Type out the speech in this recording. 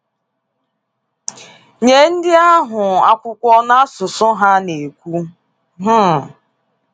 Nye ndị ahụ akwụkwọ n’asụsụ ha na-ekwu. um